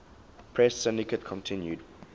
press syndicate continued